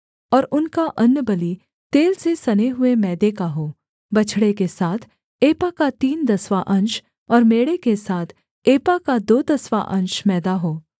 और उनका अन्नबलि तेल से सने हुए मैदे का हो बछड़े के साथ एपा का तीन दसवाँ अंश और मेढ़े के साथ एपा का दो दसवाँ अंश मैदा हो